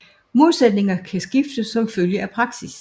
Modsætninger kan skifte som følge af praksis